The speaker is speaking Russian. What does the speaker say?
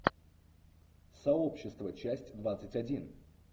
сообщество часть двадцать один